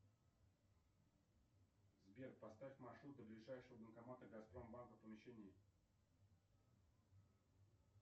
сбер поставь маршрут до ближайшего банкомата газпромбанка в помещении